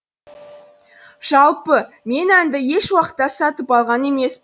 жалпы мен әнді еш уақытта сатып алған емеспін